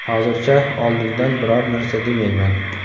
Hozircha oldindan biror narsa demayman.